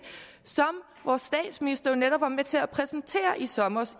som vores statsminister jo netop var med til at præsentere i sommer